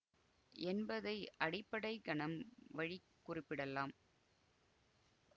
என்பதை அடிப்படை கணம் வழி குறிப்பிடலாம்